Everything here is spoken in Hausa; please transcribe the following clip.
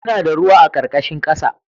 Muna da ruwa a ƙarƙashin ƙasa